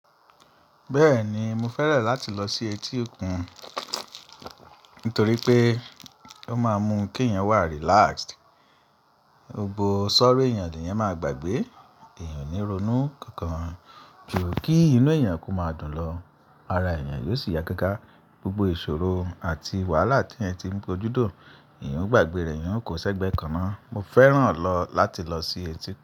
Bẹ́ẹ̀ni mo fẹ́ràn láti lọ sí etí òkun nítorí pé ó máa ń mú kí èèyàn wà relaxed. Gbogbo sorrow èèyàn ni eyan máa gbàgbé. Èèyàn ó ní ronú kankan ju kí inú èèyàn kó máa dùn lọ. Ara èèyàn yóò sì ya káaká gbogbo ìṣòro àti wàhálà tí èèyàn ti ń kojú dùn, èèyàn ó gbàgbé rẹ̀, èèyàn kò ṣẹ́gbẹ́ kaná. Mo fẹ́ràn láti lọ sí etí òkun.